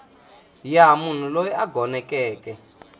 ya munhu loyi a gonekeke